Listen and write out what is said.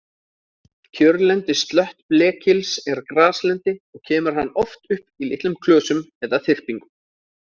Kjörlendi slöttblekils er graslendi og kemur hann oft upp í litlum klösum eða þyrpingum.